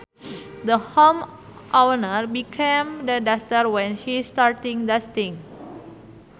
The homeowner became the duster when she starting dusting